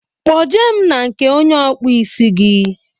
Kpo je mụ na nke onye okpu ísì gi